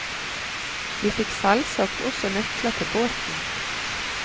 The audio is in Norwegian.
Vi fikk selvsagt også nøkler til båten.